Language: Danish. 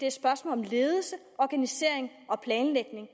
et spørgsmål om ledelse organisering og planlægning